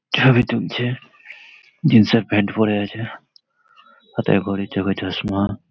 ছবি তুলছে জিন্সের প্যান্ট পরে আছে । হাথে ঘড়ি চোখে চশমা।